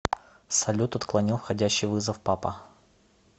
салют отклонил входящий вызов папа